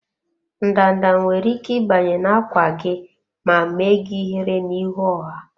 Ndanda nwere ike ịbanye na-ákwà gị ma mee gị ihere n'ihu ọha.